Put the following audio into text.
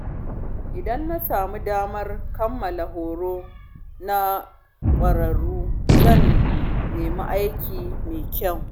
Idan na sami damar kammala horo na ƙwararru, zan nemi aiki mai kyau.